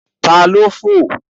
Ta ni ó fò?